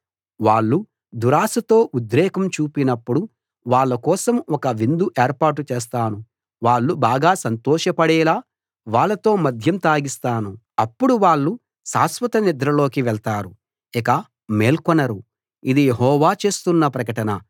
వాళ్ళు దురాశతో ఉద్రేకం చూపినప్పుడు వాళ్ళ కోసం ఒక విందు ఏర్పాటు చేస్తాను వాళ్ళు బాగా సంతోషపడేలా వాళ్ళతో మద్యం తాగిస్తాను అప్పుడు వాళ్ళు శాశ్వత నిద్రలోకి వెళ్తారు ఇక మేల్కొనరు ఇది యెహోవా చేస్తున్న ప్రకటన